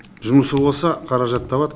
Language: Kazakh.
жұмысы болса қаражат табады